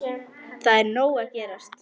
Það er nóg að gerast.